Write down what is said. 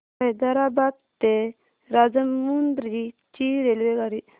हैदराबाद ते राजमुंद्री ची रेल्वेगाडी